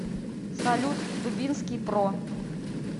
салют дубинский про